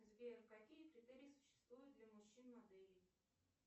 сбер какие критерии существуют для мужчин моделей